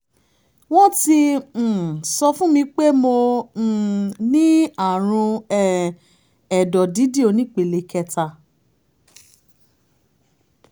wọ́n ti um sọ fún mi pé mo um ní àrùn um ẹ̀dọ̀ dídì onípele kẹta